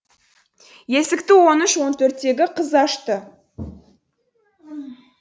есікті он үш он төрттегі қыз ашты